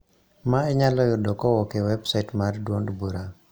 ma inyalo yudo kowuok e websait mar duond bura.